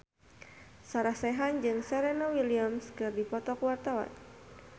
Sarah Sechan jeung Serena Williams keur dipoto ku wartawan